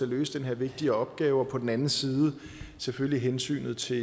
løse den her vigtige opgave og på den anden side selvfølgelig hensynet til